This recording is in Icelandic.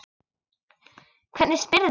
Hvernig spyrðu!